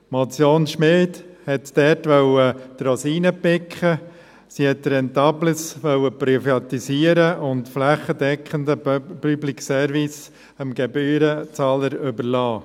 Die Motion Schmid wollte die Rosinen picken, sie wollte Rentables privatisieren und einen flächendeckend den Public Service dem Gebührenzahler überlassen.